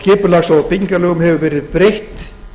skipulags og byggingarlögum hefur verið breytt